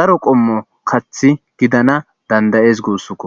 daro qommo kathi gidana dandayees guussuko